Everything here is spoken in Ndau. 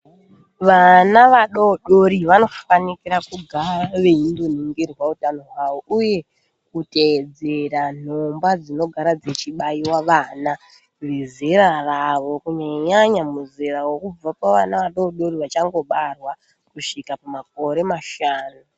Vana vadodori vanofanikira kugara veindoningirwa utano hwavo uye kutedzerera nhomba dzinogara dzichibaiwa vana vezera ravo kunyanya nyanya muzera wekubva pavana vadodori vachangobarwa kusvika pamakore mashanu.